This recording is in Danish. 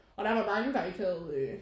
Og der var mange der ikke havde